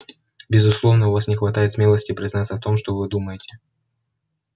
безусловно у вас не хватает смелости признаться в том что вы думаете